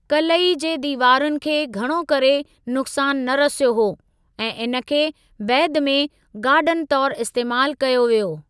क़लई जे दीवारुनि खे घणो करे नुक़्सान न रसियो हो, ऐं इन खे बैदि में गार्डन तौर इस्तेमाल कयो वियो।